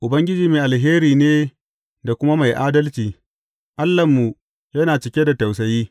Ubangiji mai alheri ne da kuma mai adalci; Allahnmu yana cike da tausayi.